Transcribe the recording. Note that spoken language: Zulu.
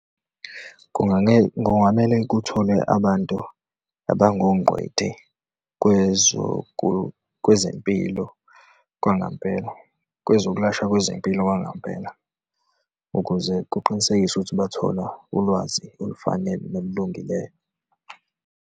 Kungamele kutholwe abantu abangongcweti kwezempilo, kwangempela, kwezokulashwa kwezempilo kwangampela ukuze kuqinisekiswe ukuthi bathola ulwazi olufanele nolulungileyo.